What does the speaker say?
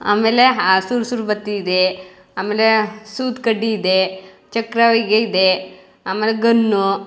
ಆಮೇಲೆ ಆ ಸುರ್ಸೂರು ಬತ್ತಿ ಇದೆ ಆಮೇಲೆ ಸೂತ್ಕಡ್ಡಿ ಇದೆ ಚಕ್ರ ಇದೆ ಆಮೇಲೆ ಗನ್ನು .